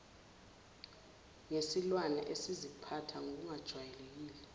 ngesilwane esiziphatha ngokungajwayelekile